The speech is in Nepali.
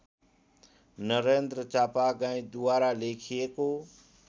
नरेन्द्र चापागाईँद्वारा लेखिएको